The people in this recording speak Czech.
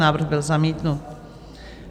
Návrh byl zamítnut.